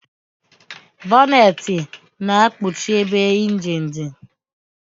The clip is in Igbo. Bọnetị na-ekpuchi ebe ịnjin dị